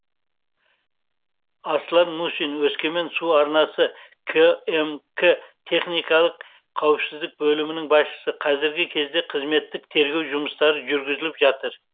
аслан мусин өскемен су арнасы кмк техникалық қауіпсіздік бөлімінің басшысы қазіргі кезде қызметтік тергеу жұмыстары жүргізіліп жатыр